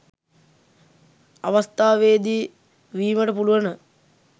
අවස්ථාවේදී වීමට පුළුවන.